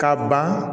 Ka ban